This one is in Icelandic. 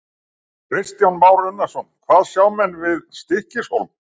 Kristján Már Unnarsson: Hvað sjá menn við Stykkishólm?